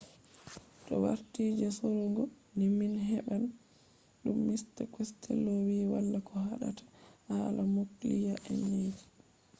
to warti je sorugo ni min heɓan ɗum. mista costello wi wala ko haɗata hala nukliya eneji.